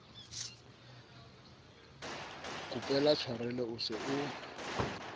kopela tshwarelo o se o